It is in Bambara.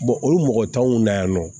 olu mɔgɔ t'anw na yan nɔ